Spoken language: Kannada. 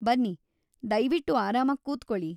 ಬನ್ನಿ, ದಯ್ವಿಟ್ಟು ಆರಾಮಾಗ್ ಕೂತ್ಕೊಳಿ.